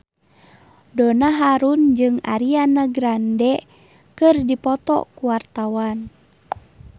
Donna Harun jeung Ariana Grande keur dipoto ku wartawan